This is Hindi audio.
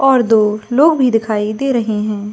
और दो लोग भी दिखाई दे रहे है।